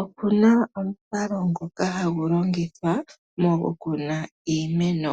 Oku na omukalo ngoka hagu loingithwa mokukuna iimeno.